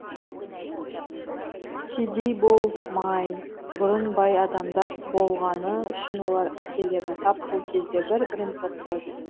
кедей болмай бұрын бай адамдар болғаны үшін олар әкелерін тап сол кезде бір бірін боқтайды